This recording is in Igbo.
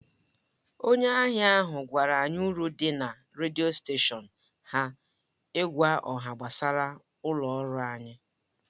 Onye ahịa ahụ gwara anyị uru dị na redio steshọn ha ịgwa ọha gbasara ụlọ ọrụ anyị.